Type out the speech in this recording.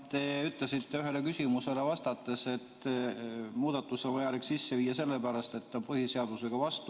Te ütlesite ühele küsimusele vastates, et muudatus on vaja sisse viia sellepärast, et on vastuolu põhiseadusega.